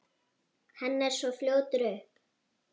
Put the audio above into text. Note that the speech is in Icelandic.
Hann er svo fljótur upp.